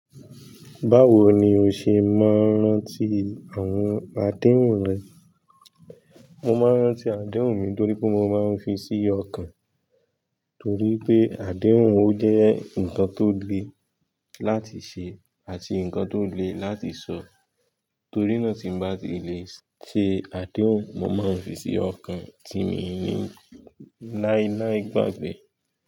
Báwo ni o ṣe máa ń rántí àwọn àdéhùn rẹ? Mo máa ń rántí àdéhùn ni torí pé mo máa ń fi sí ọkàn, torí pé àdéhùn ọ jẹ́ nǹkan tó le láti ṣe àti nǹkan tó le láti sọ. Torí náà tí n bá ti lè ṣe àdéhùn, mo máa ń fi sí ọkàn ti mi ní láíláí gbàgbé.